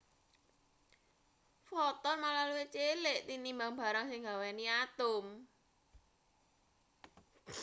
foton malah luwih cilik tinimbang barang sing nggaweni atom